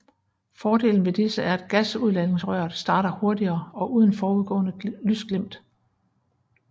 Fordelen ved disse er at gasudladningsrøret starter hurtigere og uden forudgående lysglimt